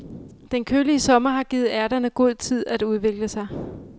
Den kølige sommer har givet ærterne god tid at udvikle sig.